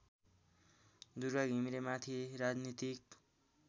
दुर्गा घिमिरेमाथि राजनीतिक